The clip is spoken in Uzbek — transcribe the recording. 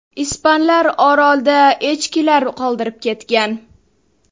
Ispanlar orolda echkilar qoldirib ketgan.